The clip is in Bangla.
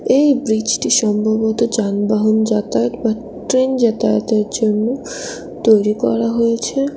এই ব্রিজ -টি সম্ভবত যানবাহন যাতায়াত বা ট্রেন যাতায়াতের জন্য তৈরি করা হয়েছে।